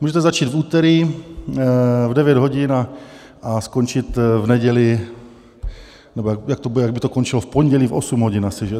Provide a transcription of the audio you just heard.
Můžete začít v úterý v 9 hodin a skončit v neděli, nebo jak by to končilo, v pondělí v 8 hodin asi.